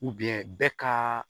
bɛ ka